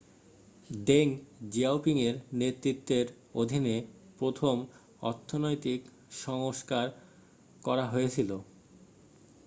Deng জিয়াওপিংয়ের নেতৃত্বের অধীনে প্রথম অর্থনৈতিক সংস্কার করা হয়েছিল